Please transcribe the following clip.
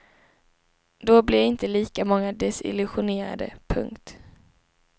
Då blir inte lika många desillusionerade. punkt